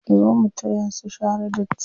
Zo mu taya su share datti.